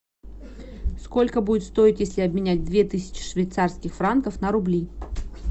сколько будет стоить если обменять две тысячи швейцарских франков на рубли